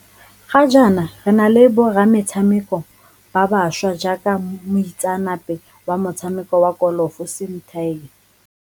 Ga jaana re na le borametshameko ba bašwa jaaka mo itseanape wa motshameko wa kolofo Sim Tiger.